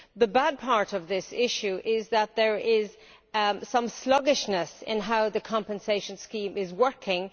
The bad part of this issue is that there is some sluggishness in how the compensation scheme is working.